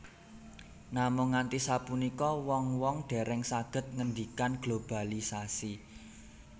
Namung nganti sapunika wong wong dèrèng sagéd ngéndikan globalisasi